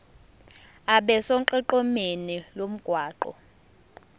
abe sonqenqemeni lomgwaqo